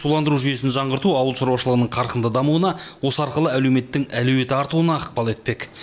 суландыру жүйесін жаңғырту ауыл шаруашылығының қарқынды дамуына осы арқылы әлеуметтің әлеуеті артуына ықпал етпек